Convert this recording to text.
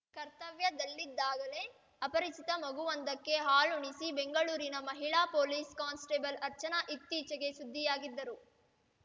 ಕರ್ತವ್ಯದಲ್ಲಿದ್ದಾಗಲೇ ಅಪರಿಚಿತ ಮಗುವೊಂದಕ್ಕೆ ಹಾಲುಣಿಸಿ ಬೆಂಗಳೂರಿನ ಮಹಿಳಾ ಪೊಲೀಸ್‌ ಕಾನ್ಸ್‌ಟೇಬಲ್‌ ಅರ್ಚನಾ ಇತ್ತೀಚೆಗೆ ಸುದ್ದಿಯಾಗಿದ್ದರು